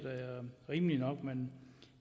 rimeligt nok men